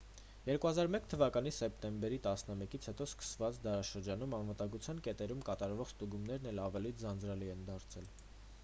2001 թ սեպտեմբեր 11-ից հետո սկսված դարաշրջանում անվտագության կետերում կատարվող ստուգումներն էլ ավելի ձանձրալի են դարձել